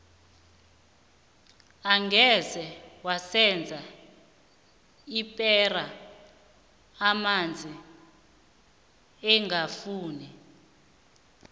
angeze waseza ipera amanzi ingafuni